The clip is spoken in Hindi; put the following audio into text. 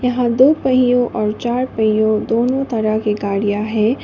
यहां दो पहियों और चार पहियों दोनों तरह की गाड़ियां हैं।